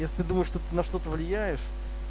если думаешь что ты на что-то влияешь